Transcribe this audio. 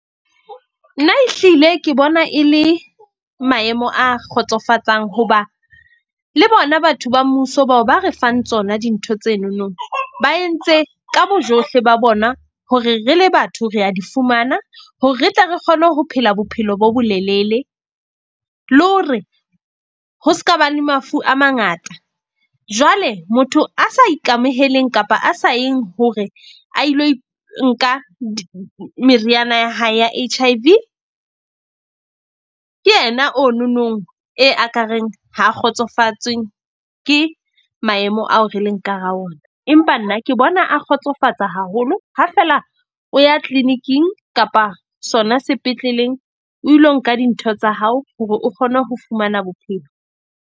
Nna ehlile ke bona e le maemo a kgotsofatsang hoba le bona batho ba mmuso bao ba re fang tsona dintho tsenonong, ba entse ka bojohle ba bona, hore re le batho re a di fumana. Hore re tle re kgone ho phela bophelo bo bolelele le hore ho ska ba le mafu a mangata. Jwale motho a sa ikamoheleng kapa a sa yeng hore a ilo nka meriana ya hae ya H_I_V, ke yena ono nong e aka reng ha a kgotsofatswe ke maemo ao re leng ka hara ona. Empa nna ke bona a kgotsofatsa haholo. Ha fela o ya clinic-ing kapa sona sepetleleng. O ilo nka dintho tsa hao hore o kgone ho fumana bophelo.